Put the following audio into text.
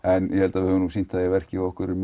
ég held við höfum sýnt það í verki að okkur er